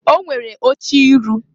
O nwere oche iru.